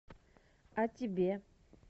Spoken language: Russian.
а тебе